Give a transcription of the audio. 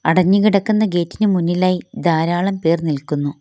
അടഞ്ഞ് കിടക്കുന്ന ഗേറ്റിനു മുന്നിലായി ധാരാളം പേർ നിൽക്കുന്നു.